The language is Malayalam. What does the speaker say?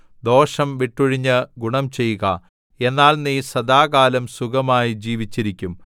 ദോഷം വിട്ടൊഴിഞ്ഞ് ഗുണം ചെയ്യുക എന്നാൽ നീ സദാകാലം സുഖമായി ജീവിച്ചിരിക്കും